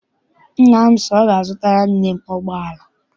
Nna m si na ọ ga- azutara nne m ụgbọala.